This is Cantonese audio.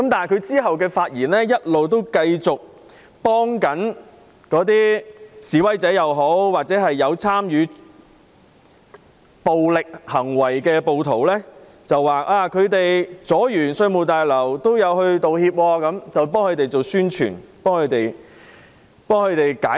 他之後的發言一直繼續維護示威者或有參與暴力行為的暴徒，指他們妨礙市民進出稅務大樓之後也有道歉，還為他們宣傳、為他們解難。